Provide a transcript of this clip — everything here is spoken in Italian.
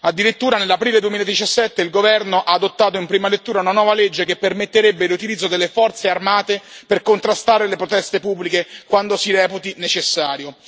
Addirittura nell'aprile 2017 il governo ha adottato in prima lettura una nuova legge che permetterebbe l'utilizzo delle forze armate per contrastare le proteste pubbliche quando si reputi necessario.